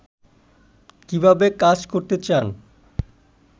কীভাবে কাজ করতে চান